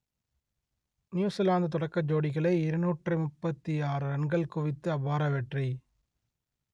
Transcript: New Zealand தொடக்க ஜோடிகளே இருநூற்று முப்பத்தி ஆறு ரன்கள் குவித்து அபார வெற்றி